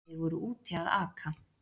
Þeir voru úti að aka.